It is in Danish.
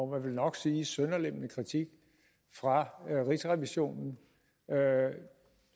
vel nok sige sønderlemmende kritik fra rigsrevisionen